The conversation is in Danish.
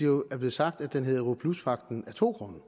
jo blevet sagt at den hedder europluspagten af to grunde